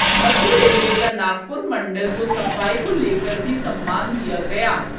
मध्य railway का नागपुर मंडल को सफाई को लेकर भी सम्मान दिया गया